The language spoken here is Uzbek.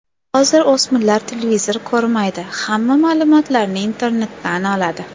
Hozir o‘smirlar televizor ko‘rmaydi, hamma ma’lumotlarni internetdan oladi.